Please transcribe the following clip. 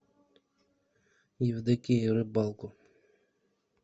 евдокии рыбалко